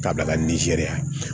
K'a bila ka nizeriya